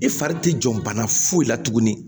I fari ti jɔ bana foyi la tuguni